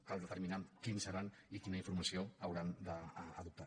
cal determinar quins seran i quina informació hauran d’adoptar